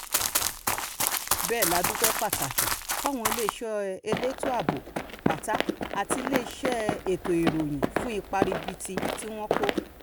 bẹ́ẹ̀ la dúpẹ́ pàtàkì fáwọn iléeṣẹ́ elétò ààbò pátá àti iléeṣẹ́ ètò ìrìnnà fún ipa ribiribi tí wọ́n kó